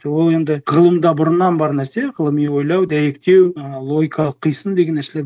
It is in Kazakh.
ол енді ғылымда бұрыннан бар нәрсе ғылыми ойлау дәйектеу ы логикалық қисын деген нәрселер